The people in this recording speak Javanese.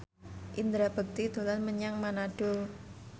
Indra Bekti dolan menyang Manado